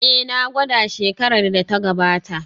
Ee, na gwada shekarar da ta gabata